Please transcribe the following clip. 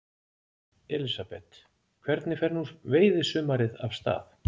Elísabet, hvernig fer nú veiðisumarið af stað?